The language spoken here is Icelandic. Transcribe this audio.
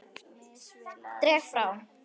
Dreg frá.